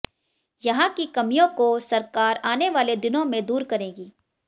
यहां की कमियों को सरकार आने वाले दिनों में दूर करेगी